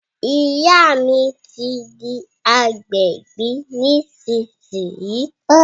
Ìyá mi ti di agbẹ̀bí nísìsiyìí